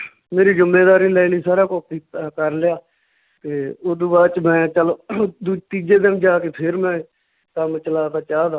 ਮੇਰੀ ਜੁੰਮੇਦਾਰੀ ਲੈ ਲਈ ਸਾਰਾ ਅਹ ਕਰ ਲਿਆ ਤੇ ਓਦੂ ਬਾਅਦ 'ਚ ਮੈਂ ਚੱਲ ਦੂ~ ਤੀਜੇ ਦਿਨ ਜਾ ਕੇ ਫੇਰ ਮੈਂ ਕੰਮ ਚਲਾਤਾ ਚਾਹ ਦਾ